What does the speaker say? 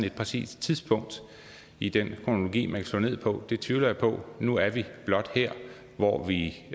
et præcist tidspunkt i den kronologi man kan slå ned på tvivler jeg på nu er vi blot her hvor vi